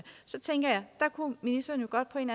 ministeren på en